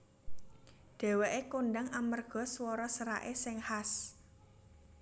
Dhèwèké kondhang amarga swara seraké sing khas